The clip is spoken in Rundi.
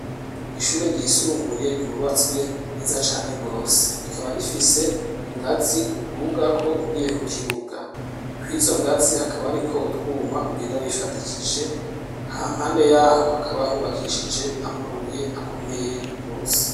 Ishure ry' isumbuye ryubatswe neza cane rwose, rikaba rifis' ingaz' udugak' ugiye ku kibuga, kw'izo ngazi hakaba harik' utwum' ugenda wifatikije, hampande yaho hakaba hubakishij' amabuy' akomeye rwose, imbere yizo ngazi har' utwatsi dusa n'icatsi kibisi.